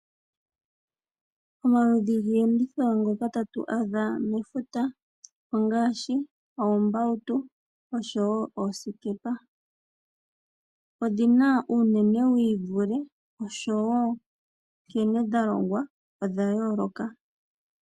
Omaludhi giiyenditho ngoka tatu adha mefuta ongaashi, oombautu oshowo oosikepa. Odhina uunene wiivule oshowo nkene dhalongwa odhayooloka.